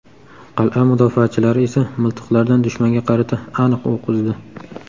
Qal’a mudofaachilari esa miltiqlardan dushmanga qarata aniq o‘q uzdi.